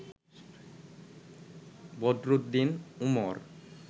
Badruddin Umar